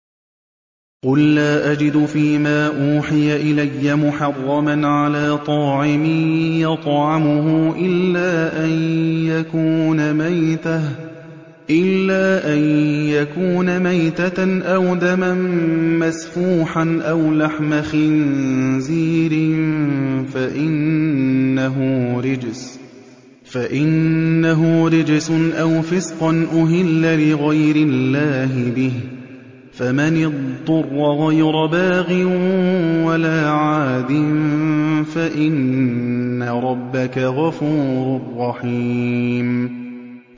قُل لَّا أَجِدُ فِي مَا أُوحِيَ إِلَيَّ مُحَرَّمًا عَلَىٰ طَاعِمٍ يَطْعَمُهُ إِلَّا أَن يَكُونَ مَيْتَةً أَوْ دَمًا مَّسْفُوحًا أَوْ لَحْمَ خِنزِيرٍ فَإِنَّهُ رِجْسٌ أَوْ فِسْقًا أُهِلَّ لِغَيْرِ اللَّهِ بِهِ ۚ فَمَنِ اضْطُرَّ غَيْرَ بَاغٍ وَلَا عَادٍ فَإِنَّ رَبَّكَ غَفُورٌ رَّحِيمٌ